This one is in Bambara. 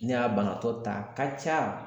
Ne y'a banabaatɔ ta a ka ca.